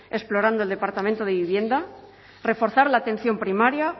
explorando el departamento de vivienda reforzar la atención primaria